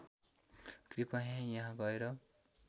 कृपया यहाँ गएर